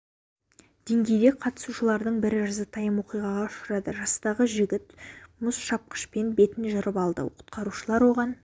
деңгейде қатысушылардың бірі жазатайым оқиғаға ұшырады жастағы жігіт мұз шапқышпен бетін жырып алды құтқарушылар оған